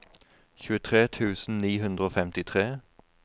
tjuetre tusen ni hundre og femtitre